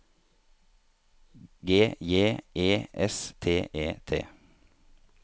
G J E S T E T